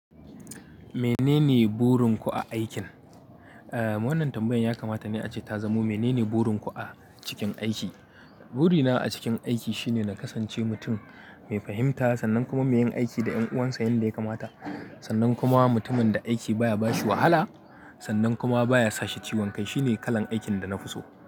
Menene burinku a aikin? Eh, wannan tambayan ya kamata ne ace ta zamo menene burinku a cikin aiki. Burina a cikin aiki shine na kasance mutum mai fahimta, sannan kuma mai yin aiki da 'yan uwansa yanda ya kamata. Sannan kuma mutumin da aiki baya bashi wahala, sannan kuma baya sashi ciwon kai. Shine kalan aikin da na fi so.